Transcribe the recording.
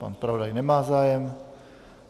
Pan zpravodaj nemá zájem.